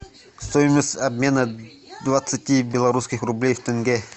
стоимость обмена двадцати белорусских рублей в тенге